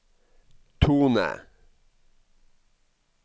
tone